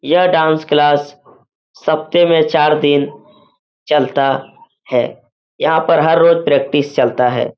यह dance class सपते में चार दिन चलता है। यहाँ पर हर रोज प्रैक्टिस चलता है।